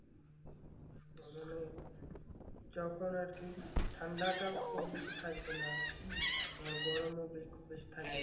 তার মানে যখন আর কি ঠান্ডাটা ও খুব বেশি থাকবে না আবার গরম বেশি থাকবে না